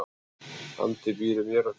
Andi býr í mér og þér.